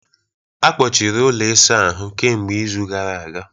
Akpọchiri ụlọ ịsa ahụ kemgbe izu gara aga